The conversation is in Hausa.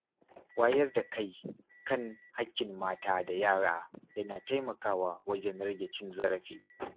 Wayar da kai kan haƙƙin mata da yara yana taimakawa wajen rage cin zarafi.